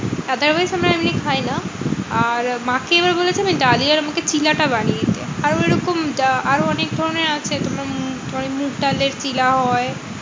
otherwise কোনো আমি খাইনা মাকে এবার বলেছি যে ডালিয়ার আমাকে চিলাটা বানিয়ে দিও। আরো এরকম আরো অনেকধরণের আছে তোমরা তোমার মুগ ডালের চিলা হয়।